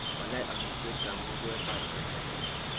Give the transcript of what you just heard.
walai amisyet kamugwt ab kechamjam?